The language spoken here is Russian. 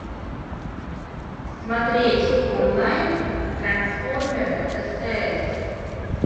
смотреть онлайн трансформеры стс